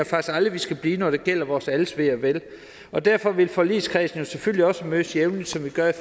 faktisk aldrig vi skal blive når det gælder vores alles ve og vel og derfor vil forligskredsen jo selvfølgelig også mødes jævnligt som vi gør i